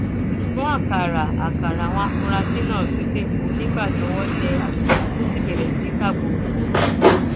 ṣùgbọn àkàrà àkàrà àwọn afurasí náà tú sẹpẹ nígbà tí ọwọ tẹ adisa tó sì bẹrẹ sí í ká bọrọbọrọ